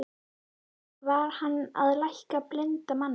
Var hann að lækna blinda manninn?